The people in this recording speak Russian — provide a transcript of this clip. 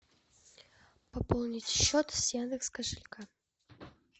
пополнить счет с яндекс кошелька